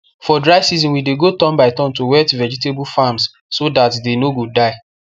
for dry season we dey go turn by turn to wet vegetable farms so that they no go die